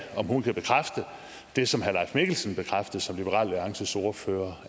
om hun kan bekræfte det som herre mikkelsen bekræftede som liberal alliances ordfører